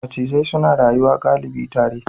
Macizai suna rayuwa galibi tare.